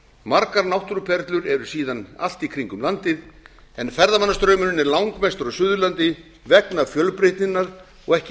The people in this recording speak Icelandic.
margar náttúruperlur eru síðan allt í kringum landið en ferðamannastraumurinn er langmestur á suðurlandi vegna fjölbreytninnar og ekki